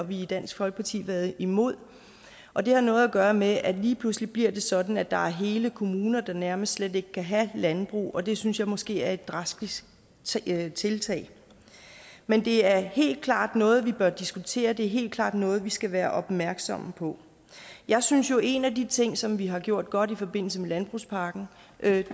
vi i dansk folkeparti været imod og det har noget gøre med at lige pludselig bliver det sådan at der er hele kommuner der nærmest slet ikke kan have landbrug og det synes jeg måske er et drastisk tiltag men det er helt klart noget vi bør diskutere det er helt klart noget vi skal være opmærksomme på jeg synes jo at en af de ting som vi har gjort godt i forbindelse med landbrugspakken